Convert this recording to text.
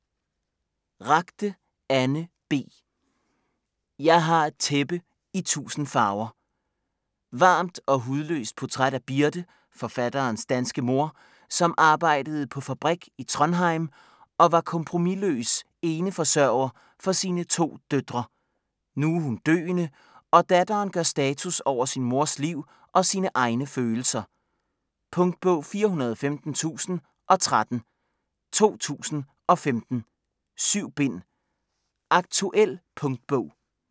Ragde, Anne B.: Jeg har et tæppe i tusind farver Varmt og hudløst portræt af Birte, forfatterens danske mor, som arbejdede på fabrik i Trondheim og var kompromisløs eneforsørger for sine to døtre. Nu er hun døende, og datteren gør status over sin mors liv og sine egne følelser. Punktbog 415013 2015. 7 bind. Aktuel punktbog